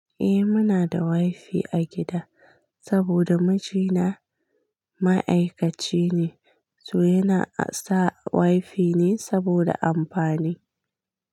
Eh muna da wifi a gida saboda mijina ma'aikaci ne, to yana sa wifi ne saboda amfani.